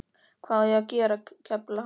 Hvað á ég að gera, kefla hana?